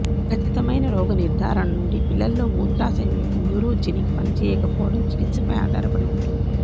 ఖచ్చితమైన రోగనిర్ధారణ నుండి పిల్లలలో మూత్రాశయం యొక్క న్యూరోజెనిక్ పనిచేయకపోవడం చికిత్సపై ఆధారపడి ఉంటుంది